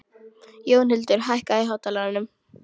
Jónhildur, hækkaðu í hátalaranum.